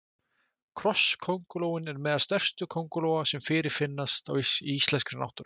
krossköngulóin er meðal stærstu köngulóa sem fyrirfinnast í íslenskri náttúru